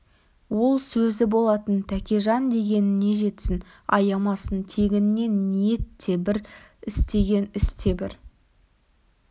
ол сөзі болатын тәкежан дегеніне жетсін аямасын тегінде ниет те бір істеген іс те бір